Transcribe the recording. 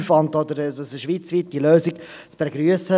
Er schreibt dort, eine schweizweite Lösung wäre zu begrüssen.